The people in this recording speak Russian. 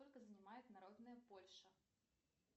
сколько занимает народная польша